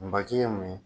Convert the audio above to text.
N baji ye mun ye